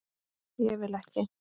Ég vil ekki.